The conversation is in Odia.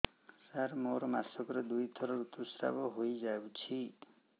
ସାର ମୋର ମାସକରେ ଦୁଇଥର ଋତୁସ୍ରାବ ହୋଇଯାଉଛି